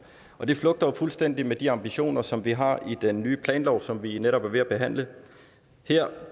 og det flugter fuldstændig med de ambitioner som vi har i den nye planlov som vi netop er ved at behandle her